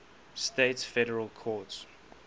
states federal courts